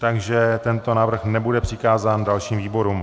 Takže tento návrh nebude přikázán dalším výborům.